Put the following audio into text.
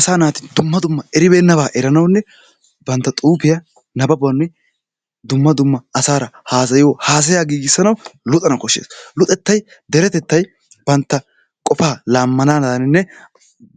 Asaa naati dumma dumma eribeenabaa eranawunne bantta xuufiya nababuwanne dumma dumma asaara haasayiyo haasaya giigisanawu luxana koshees. luxxettay deretettay bantta qofaa laamanaadaninne